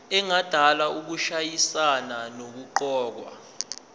engadala ukushayisana nokuqokwa